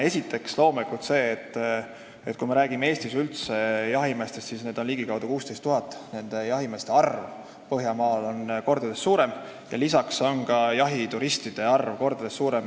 Esiteks loomulikult see, et kui me räägime üldse jahimeestest, siis Eestis on neid ligikaudu 16 000, jahimeeste arv põhjanaabrite juures on mitu korda suurem ja ka jahituristide arv on seal mitu korda suurem.